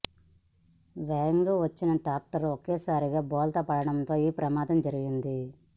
వేగంగా వచ్చిన ట్రాక్టర్ ఒక్కసారిగా బోల్తా పడడంతో ఈ ప్రమాదం జరిగింది